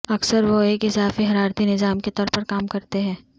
اکثر وہ ایک اضافی حرارتی نظام کے طور پر کام کرتے ہیں